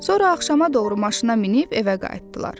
Sonra axşama doğru maşına minib evə qayıtdılar.